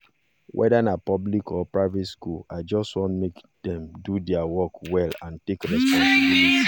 whether na public or private school i just want make dem do their work well and take responsibility